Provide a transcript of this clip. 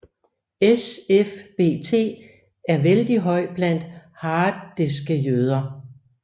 SFBT er vældig høj blandt harediske jøder